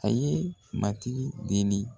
A ye Matigi deli.